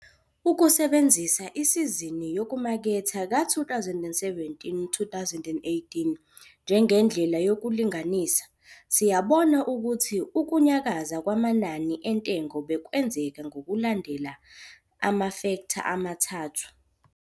Ukusebenzisa isizini yokumaketha ka-2017, 2018 njengendlela yokulinganisa, siyabona ukuthi ukunyakaza kwamanani entengo bekwenzeka ngokulandela la mafektha amathathu.